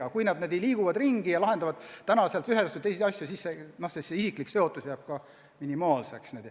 Aga kui inimesed liiguvad ringi ja lahendavad täna ühes ja homme teises majas asju, siis isiklik seotus jääb minimaalseks.